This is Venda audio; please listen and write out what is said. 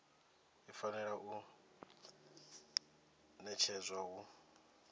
i fanela u ṋetshedzwa hu